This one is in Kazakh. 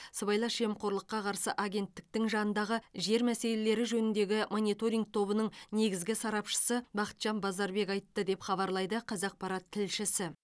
сыбайлас жемқорлыққа қарсы агенттіктің жанындағы жер мәселелері жөніндегі мониторинг тобының негізгі сарапшысы бақытжан базарбек айтты деп хабарлайды қазақпарат тілшісі